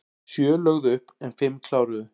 Sjö lögðu upp en fimm kláruðu